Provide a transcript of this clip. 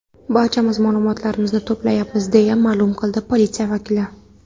Barchamiz ma’lumotlar to‘playapmiz”, deya ma’lum qildi politsiya vakili.